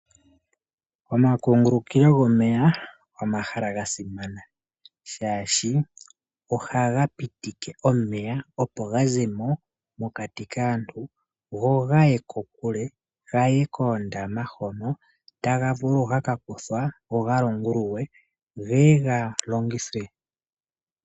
Omakungulukilo gomeya omahala ga simana, shaashi oha ga pitike omeya opo gazemo mokati kaantu go gaye kokule gaye koondama hono taga vulu ga kakuthwa go ga longululwe geye ga longithwe.